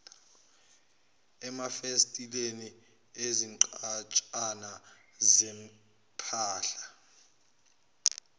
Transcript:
emafasiteleni izinqwatshana zempahla